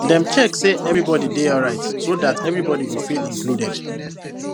dem check say everybody dey alright so that everybody go feel included